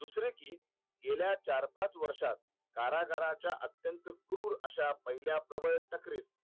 दुसरे कि गेल्या चार पाच वर्षात कारागारांच्या अंत्यत क्रूर अश्या पहिल्या